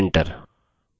enter